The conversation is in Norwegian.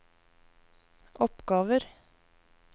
oppgaver